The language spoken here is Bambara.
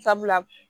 Sabula